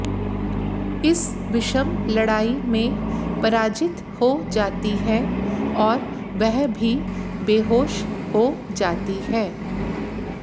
इस विषम लड़ाई में पराजित हो जाती है और वह भी बेहोश हो जाती है